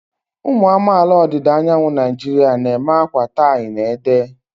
Ụmụ amaala ọdịda anyanwụ Naijiria na-eme akwa tie-na-ede.